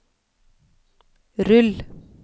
rull